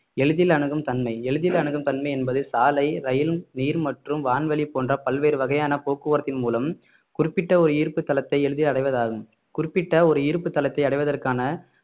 எளிதில் அணுகும் தன்மை எளிதில் அணுகும் தன்மை என்பது சாலை ரயில் நீர் மற்றும் வான்வழி போன்ற பல்வேறு வகையான போக்குவரத்தின் மூலம் குறிப்பிட்ட ஒரு ஈர்ப்பு தளத்தை எளிதில் அடைவதாகும் குறிப்பிட்ட ஒரு ஈர்ப்பு தளத்தை அடைவதற்கான